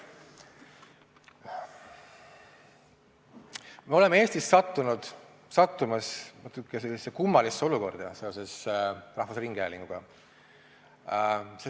Me oleme Eestis sattumas natukene kummalisse olukorda seoses rahvusringhäälinguga.